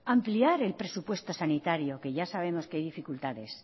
ampliar el presupuesto sanitario que ya sabemos que hay dificultades